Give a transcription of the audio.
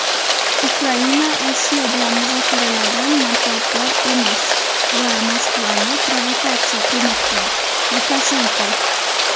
Ukraina Rossiya bilan muzokaralardan manfaatdor emas va Moskvani provokatsiya qilmoqda – Lukashenko.